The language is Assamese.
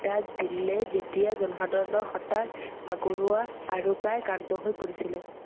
বাৰ্তা দিলে যেতিয়া জনসাধাৰণৰ হতাশ ভাগৰুৱা আৰু প্ৰায় শান্ত গৈ পৰিছিল